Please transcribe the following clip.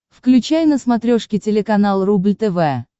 включай на смотрешке телеканал рубль тв